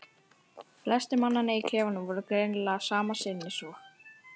Flestir mannanna í klefanum voru greinilega sama sinnis og